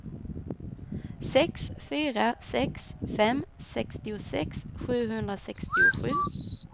sex fyra sex fem sextiosex sjuhundrasextiosju